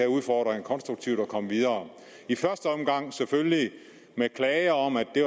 udfordringer konstruktivt og komme videre i første omgang selvfølgelig med klager om at det